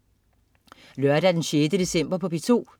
Lørdag den 6. december - P2: